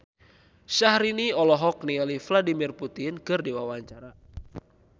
Syahrini olohok ningali Vladimir Putin keur diwawancara